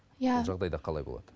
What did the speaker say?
иә жағдайда қалай болады